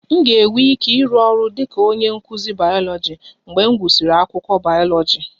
M ga-enwe ike ịrụ ọrụ dị ka onye nkụzi bayoloji mgbe m gụsịrị akwụkwọ bayoloji